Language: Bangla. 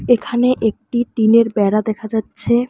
এখানে একটি টিনের বেড়া দেখা যাচ্ছে।